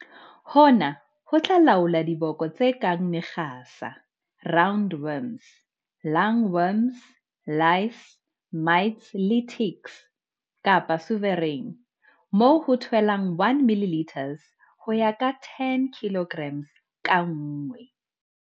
Hona ho tla laola diboko tse kang mekgasa, round worms, lung worms, lice, mites le ticks, kapa Sovereign, moo ho tshelwang 1 ml ho ya ka 10 kg ka nngwe.